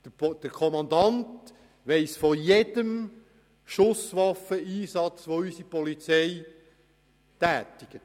Der Kommandant weiss von jedem Schusswaffeneinsatz, den unsere Polizei tätigt.